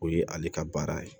O ye ale ka baara ye